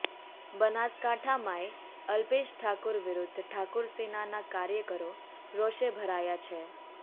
બનાસકાંઠામાંય અલ્પેશ ઠાકોર વિરુધ્ધ ઠાકોરસેનાના કાર્યકરો રોષે ભરાયાં છે